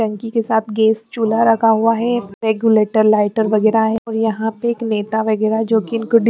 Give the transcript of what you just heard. बंकी के साथ गैस चूला रखा हुआ है रेगुलेटर लाइटर वगैरह है और यहां पे एक नेता वगैरह जो।